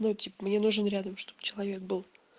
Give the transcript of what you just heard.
ну я типа мне нужен рядом чтоб человек был